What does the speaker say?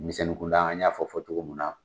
Denmisɛnnin kun da, an y'a fɔ cogo min na